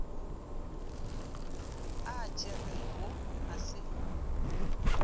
a a tšerego a se